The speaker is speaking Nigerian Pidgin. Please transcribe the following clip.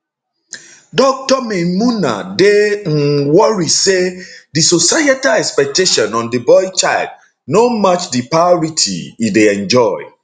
dr maymunah dey um worry say di societal expectation on di boy child no match di priority e dey enjoy